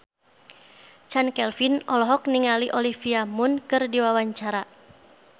Chand Kelvin olohok ningali Olivia Munn keur diwawancara